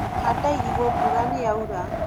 handa irigũ mbura nĩyaura